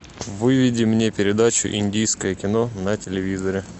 выведи мне передачу индийское кино на телевизоре